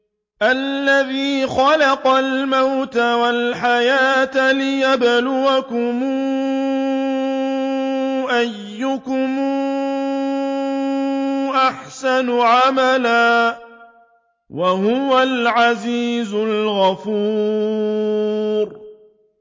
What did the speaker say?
الَّذِي خَلَقَ الْمَوْتَ وَالْحَيَاةَ لِيَبْلُوَكُمْ أَيُّكُمْ أَحْسَنُ عَمَلًا ۚ وَهُوَ الْعَزِيزُ الْغَفُورُ